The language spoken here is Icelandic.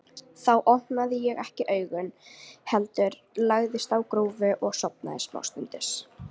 Þá opnaði ég ekki augun, heldur lagðist á grúfu og sofnaði samstundis.